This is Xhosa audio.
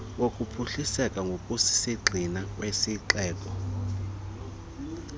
wokuphuhliseka ngokusisigxina kwesixeko